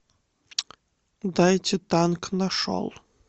дайте танк нашел